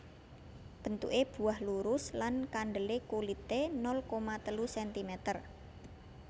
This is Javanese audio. Bentuke buah lurus lan kandele kulite nol koma telu sentimeter